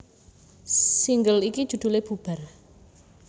Single iki judhulé Bubar